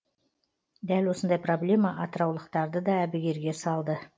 дәл осындай проблема атыраулықтарды да әбігерге салды